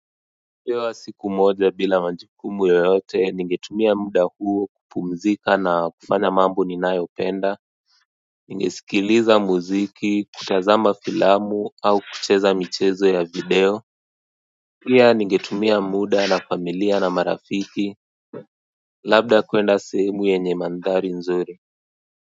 Nikipewa siku moja bila majukumu yoyote ningetumia muda huo kupumzika na kufanya mambo ninayopenda. Ningesikiliza muziki, kutazama filamu au kucheza michezo ya video pia ningetumia muda na familia na marafiki labda kuenda sehemu yenye mandhari nzuri.